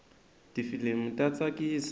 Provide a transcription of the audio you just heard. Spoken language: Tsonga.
tifilimu ta tsakisa